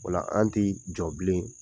Ola an tɛ jɔ bilen